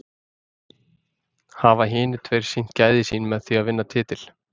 Hafa hinir tveir sýnt gæði sín með því að vinna titil?